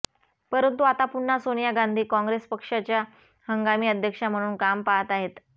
परंतु आता पुन्हा सोनिया गांधी काँग्रेस पक्षच्या हंगामी अध्यक्षा म्हणून काम पाहात आहेत